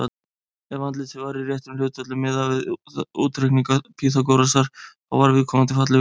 Ef andlitið var í réttum hlutföllum, miðað við útreikninga Pýþagórasar, þá var viðkomandi fallegur.